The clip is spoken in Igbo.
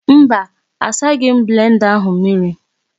Mba asaghi m blenda ahụ mmiri.